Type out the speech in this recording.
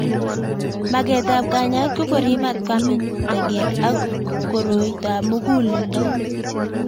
Maget ab kanyaet ko korip matkwamin taget ak koroitop mug'uleldo